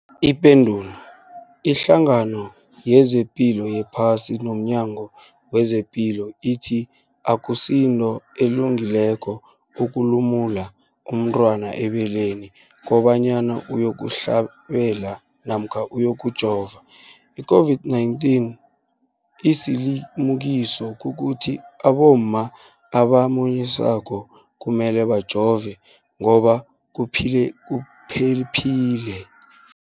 Ipendulo, iHlangano yezePilo yePhasi nomNyango wezePilo ithi akusinto elungileko ukulumula umntwana ebeleni kobanyana uyokuhlabela namkha uyokujovela i-COVID-19. Isilimukiso kukuthi abomma abamunyisako kumele bajove ngoba kuphephile.